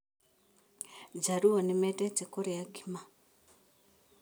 Njaruo nĩmeendete kũrĩa ngima